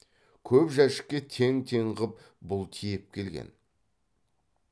көп жәшікке тең тең қып бұл тиеп келген